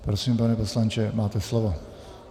Prosím, pane poslanče, máte slovo.